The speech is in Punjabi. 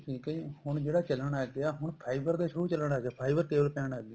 ਠੀਕ ਏ ਜੀ ਹੁਣ ਜਿਹੜਾ ਚੱਲਣ ਲੱਗ ਗਿਆ ਹੁਣ fiber ਦੇ show ਚੱਲਣ ਲੱਗ ਗਏ fiber cable ਪੈਣ ਲੱਗ ਗਈ